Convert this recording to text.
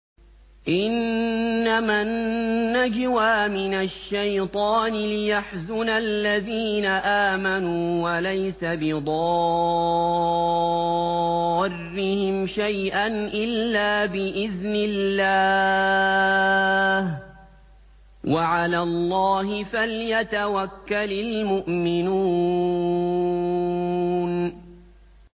إِنَّمَا النَّجْوَىٰ مِنَ الشَّيْطَانِ لِيَحْزُنَ الَّذِينَ آمَنُوا وَلَيْسَ بِضَارِّهِمْ شَيْئًا إِلَّا بِإِذْنِ اللَّهِ ۚ وَعَلَى اللَّهِ فَلْيَتَوَكَّلِ الْمُؤْمِنُونَ